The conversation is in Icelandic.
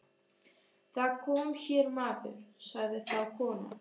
Það kom hér maður, sagði þá konan.